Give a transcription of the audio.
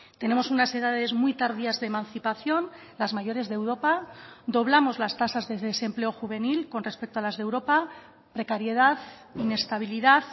tenemos unas edades muy tardías de emancipación las mayores de europa doblamos las tasas de desempleo juvenil con respecto a las de europa precariedad inestabilidad